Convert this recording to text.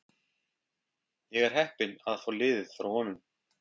Ég er heppinn að fá liðið frá honum.